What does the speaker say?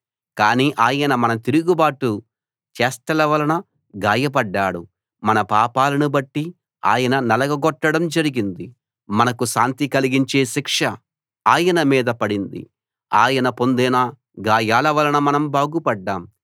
కానీ ఆయన మన తిరుగుబాటు చేష్టల వలన గాయపడ్డాడు మన పాపాలను బట్టి ఆయన్ని నలగగొట్టడం జరిగింది మనకు శాంతి కలిగించే శిక్ష ఆయనమీద పడింది ఆయన పొందిన గాయాల వలన మనం బాగుపడ్దాం